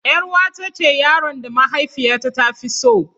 Yar'uwata ce yaron da mahaifiyata ta fi so.